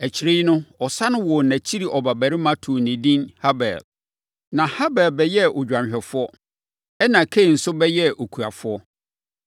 Akyire no, ɔsane woo nʼakyiri ɔbabarima too no edin Habel. Na Habel bɛyɛɛ odwanhwɛfoɔ, ɛnna Kain nso bɛyɛɛ okuafoɔ.